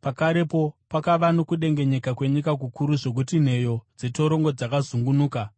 Pakarepo pakava nokudengenyeka kwenyika kukuru zvokuti nheyo dzetorongo dzakazungunuka.